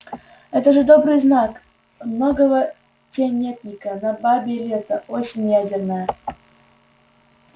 это тоже добрый знак много тенётника на бабье лето осень ядерная